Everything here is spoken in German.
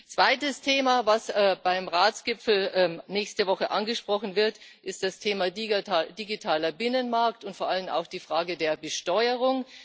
Das zweite Thema, das auch beim Ratsgipfel nächste Woche angesprochen wird, ist das Thema digitaler Binnenmarkt und vor allem auch die Frage der Besteuerung.